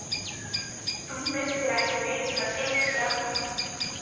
Þú myrtir ekki Niklas Edström?